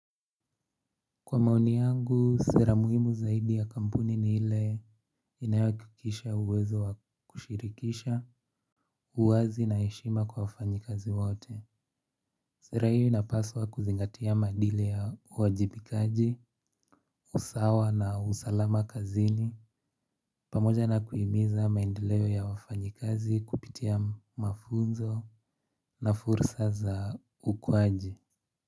Kwa maoni yangu sera muhimu zaidi ya kampuni ni ile inayohakikisha uwezo wa kushirkisha uwazi na heshima kwa wafanyikazi wote. Sera hiyo inapaswa kuzingatia madile ya uwajibikaji, usawa na usalama kazini. Pamoja na kuhimiza maendeleo ya wafanyikazi kupitia mafunzo na fursa za ukuaji.